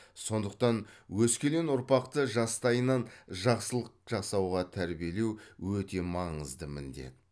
сондықтан өскелең ұрпақты жастайынан жақсылық жасауға тәрбиелеу өте маңызды міндет